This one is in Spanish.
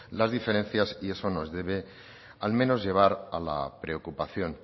las diferencias y eso nos debe al menos llevar a la preocupación